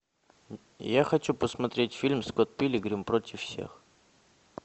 я хочу посмотреть фильм скотт пилигрим против всех